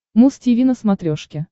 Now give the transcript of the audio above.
муз тиви на смотрешке